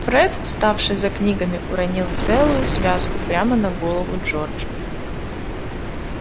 фред вставший за книгами уронил целую связку прямо на голову джорджу